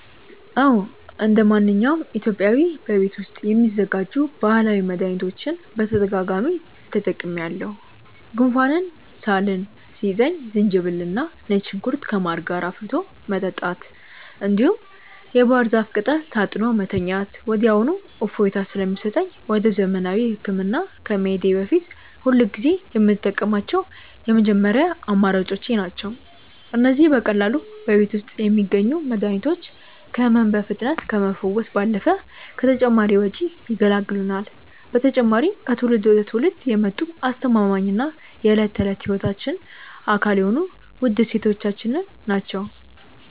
አዎ እንደማንኛውም ኢትዮጵያዊ በቤት ውስጥ የሚዘጋጁ ባህላዊ መድኃኒቶችን በተደጋጋሚ ተጠቅሜአውቃሠሁ። ጉንፋንና ሳል ሲይዘኝ ዝንጅብልና ነጭ ሽንኩርት ከማር ጋር አፍልቶ መጠጣት፣ እንዲሁም የባህር ዛፍ ቅጠል ታጥኖ መተኛት ወዲያውኑ እፎይታ ስለሚሰጠኝ ወደ ዘመናዊ ሕክምና ከመሄዴ በፊት ሁልጊዜ የምጠቀማቸው የመጀመሪያ አማራጮቼ ናቸው። እነዚህ በቀላሉ በቤት ውስጥ የሚገኙ መድኃኒቶች ከሕመም በፍጥነት ከመፈወስ ባለፈ ከተጨማሪ ወጪ ይገላግሉናል። በተጨማሪም ከትውልድ ወደ ትውልድ የመጡ አስተማማኝና የዕለት ተዕለት ሕይወታችን አካል የሆኑ ውድ እሴቶቻችን ናቸው።